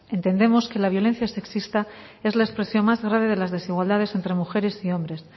entendemos que la violencia sexista es la expresión más grave de las desigualdades entre mujeres y hombres